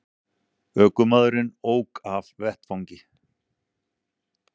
Ökumaðurinn ók af vettvangi